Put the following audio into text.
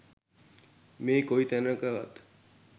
මේ කොයි තැනකවත්